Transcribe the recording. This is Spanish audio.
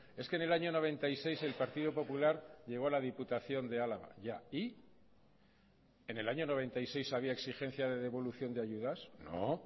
es que en el año noventa y seis el partido popular llegó a la diputación de álava ya y en el año noventa y seis había exigencia de devolución de ayudas no